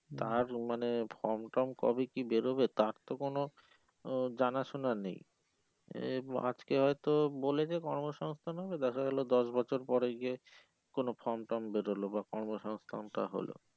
কাজ মানে form term কবে কি বেরোবে তার তো কোনো আহ জানা শোনা নেই এম আজকে হয়ে তো বলেছে কর্ম সংস্থান হবে দেখা গেলো দশ বছর পরে গিয়ে কোনো form টার্ম বেরোলো বা কর্ম সংস্থান টা হলো